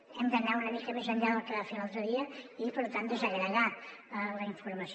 hem d’anar una mica més enllà del que va fer l’altre dia i per tant desagre·gar la informació